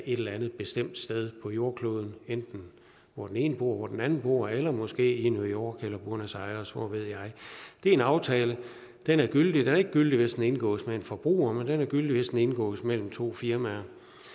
et eller andet bestemt sted på jordkloden enten hvor den ene bor eller hvor den anden bor eller måske i new york eller buenos aires eller hvor ved jeg det er en aftale og den er gyldig den er ikke gyldig hvis den indgås med en forbruger men den er gyldig hvis den indgås mellem to firmaer